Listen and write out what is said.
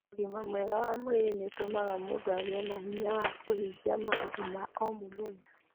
Ũgima mwega wa mwĩrĩ nĩ ũtũmaga mũndũ agĩe na hinya wa kũhingia maũndũ ma o mũthenya